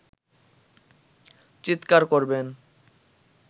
চিৎকার করবেন